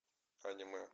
аниме